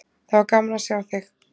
Það var gaman að sjá þig.